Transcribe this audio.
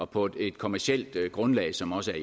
på et kommercielt grundlag som også